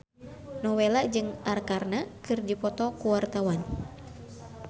Nowela jeung Arkarna keur dipoto ku wartawan